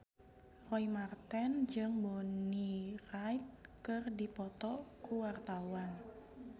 Roy Marten jeung Bonnie Wright keur dipoto ku wartawan